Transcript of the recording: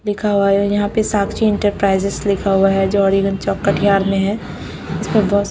लिखा हुआ है यहां पे साक्षी इंटरप्राइजेज लिखा हुआ है जओडीगंज चौक कटिहार में है इसमें बहुत--